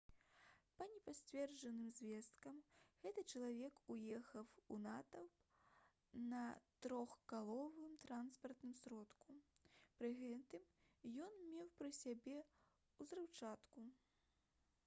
па непацверджаных звестках гэты чалавек уехаў у натоўп на трохколавым транспартным сродку пры гэтым ён меў пры сабе ўзрыўчатку